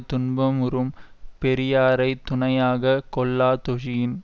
துன்பமுறும் பெரியாரை துணையாக கொள்ளாதொஜியின்